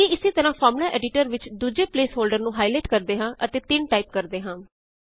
ਅੱਗੇ ਇੱਸੇ ਤਰਾਂ ਫ਼ਾਰਮੂਲਾ ਐਡੀਟਰ ਵਿੱਚ ਦੂਜੇ ਪ੍ਲੇਸ ਹੋਲ੍ਡਰ ਨੂੰ ਹਾਈਲਾਈਟ ਕਰਦੇ ਹਾਂ ਅਤੇ 3 ਟਾਇਪ ਕਰਦੇ ਹਾਂ